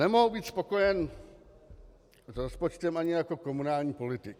Nemohu být spokojen s rozpočtem ani jako komunální politik.